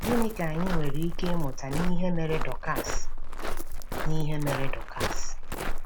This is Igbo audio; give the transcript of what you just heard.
Gịnị ka anyị nwere ike ịmụta n’ihe mere Dọkas n’ihe mere Dọkas?